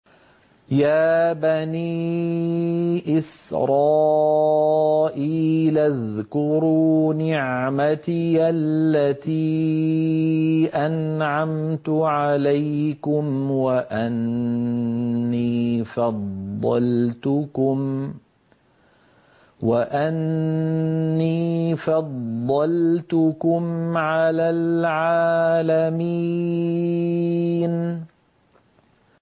يَا بَنِي إِسْرَائِيلَ اذْكُرُوا نِعْمَتِيَ الَّتِي أَنْعَمْتُ عَلَيْكُمْ وَأَنِّي فَضَّلْتُكُمْ عَلَى الْعَالَمِينَ